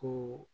Ko